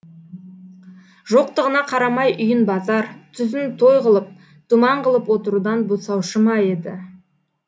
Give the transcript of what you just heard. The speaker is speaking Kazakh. жоқтығына қарамай үйін базар түзін той ғылып думан ғылып отырудан босаушы ма еді